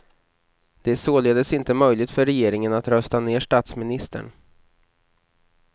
Det är således inte möjligt för regeringen att rösta ned statsministern.